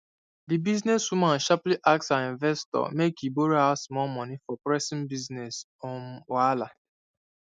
di business woman sharply ask her investor make e borrow her small money for pressing business um wahala